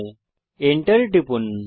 enter টিপুন